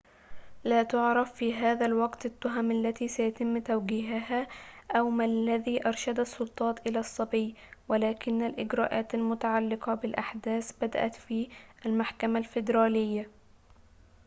لا تُعرف في هذا الوقت التهم التي سيتم توجيهها أو ما الذي أرشد السلطات إلى الصبي ولكن الإجراءات المتعلقة بالأحداث قد بدأت في المحكمة الفيدرالية